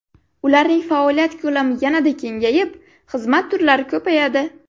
Ularning faoliyat ko‘lami yanada kengayib, xizmat turlari ko‘payadi.